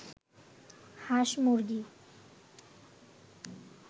হাঁস-মুরগি